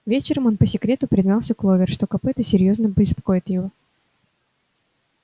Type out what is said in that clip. вечером он по секрету признался кловер что копыто серьёзно беспокоит его